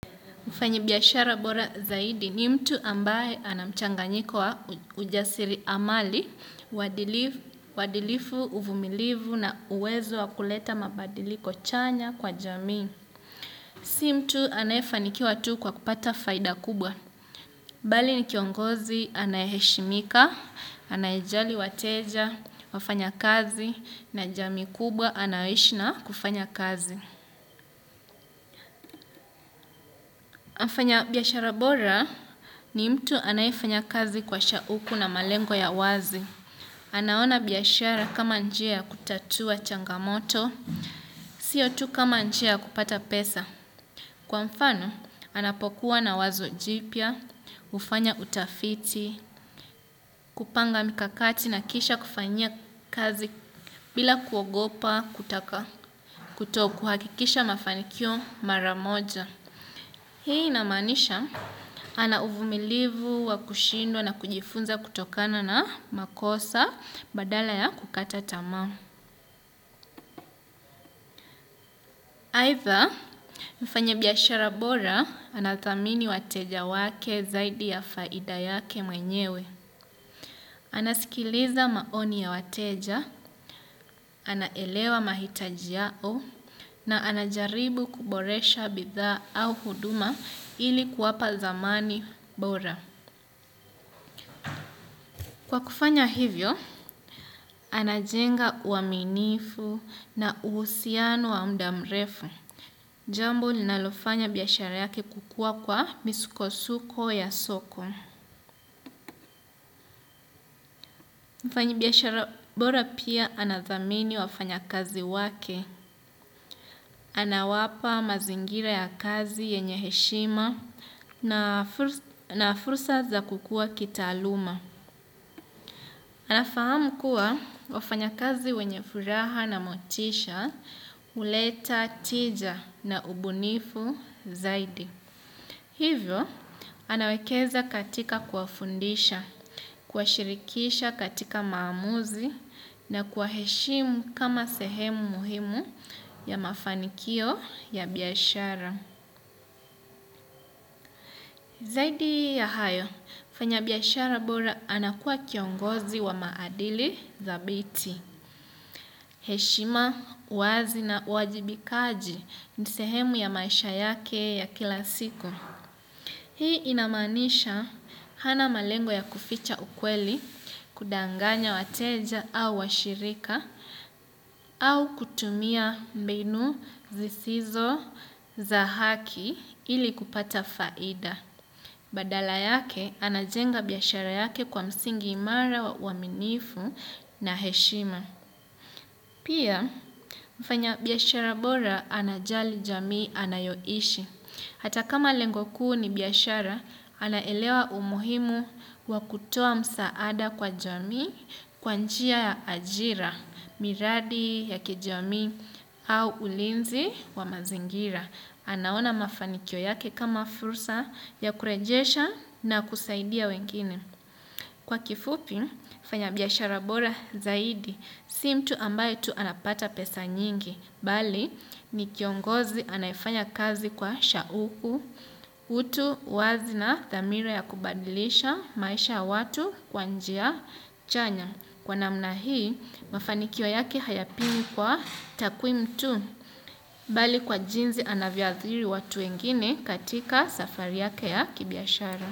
Mfanya biashara bora zaidi ni mtu ambaye ana mchanganyiko wa ujasiriamali, uadilifu, uvumilivu na uwezo wa kuleta mabadiliko chanya kwa jamii. Si mtu anayefanikiwa tu kwa kupata faida kubwa. Bali ni kiongozi anayeshimika, anayejali wateja, wafanyakazi na jamii kubwa anaye ishi na kufanya kazi. Mfanyabiashara bora ni mtu anaefanya kazi kwa shauku na malengo ya wazi. Anaona biashara kama njia kutatua changamoto, sio tu kama njia kupata pesa. Kwa mfano, anapokuwa na wazo jipya, kufanya utafiti, kupanga mikakati na kisha kufanyia kazi bila kuogopa kutaka kutokuhakikisha mafanikio maramoja. Hii inamaanisha ana uvumilivu wa kushindwa na kujifunza kutokana na makosa badala ya kukata tamaa. Aidha mfanyabiashara bora anathamini wateja wake zaidi ya faida yake mwenyewe. Anasikiliza maoni ya wateja, anaelewa mahitaji yao na anajaribu kuboresha bidhaa au huduma ili kuwapa thamani bora. Kwa kufanya hivyo, anajenga uaminifu na uhusiano wa muda mrefu. Jambo linalofanya biashara yake kukuwa kwa misukosuko ya soko. Mfanyabiashara bora pia anathamini wafanyakazi wake. Anawapa mazingira ya kazi yenye heshima na fursa za kukua kitaaluma. Anafahamu kuwa wafanya kazi wenye furaha na motisha, huleta, tija na ubunifu zaidi. Hivyo, anawekeza katika kuwafundisha, kuwashirikisha katika maamuzi na kuwaeshimu kama sehemu muhimu ya mafanikio ya biashara. Zaidi ya hayo, mfanyabiashara bora anakuwa kiongozi wa maadili thabiti. Heshima, uwazi na uwajibikaji ni sehemu ya maisha yake ya kila siku. Hii inamanisha hana malengo ya kuficha ukweli, kudanganya wateja au washirika, au kutumia mbinu zisizo za haki ili kupata faida. Badala yake anajenga biashara yake kwa msingi imara wa uaminifu na heshima. Pia mfanyabiashara bora anajali jamii anayoishi. Hata kama lengo kuu ni biashara anaelewa umuhimu wa kutoa msaada kwa jamii kwa njia ya ajira miradi ya kijamii au ulinzi wa mazingira. Anaona mafanikio yake kama fursa ya kurejesha na kusaidia wengine. Kwa kifupi, fanya biashara bora zaidi, si mtu ambaye tu anapata pesa nyingi, bali ni kiongozi anayefanya kazi kwa shauku, utu uwazi na dhamira ya kubadilisha maisha watu kwa njia chanya. Kwa namna hii, mafanikio yake hayapimwi kwa takwimu tu, bali kwa jinsi anavyoathiri watu wengine katika safari yake ya kibiashara.